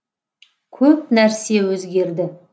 көп нәрсе өзгерді